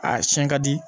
A siɲɛ ka di